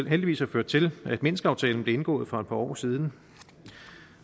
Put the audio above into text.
heldigvis har ført til at minskaftalen blev indgået for et par år siden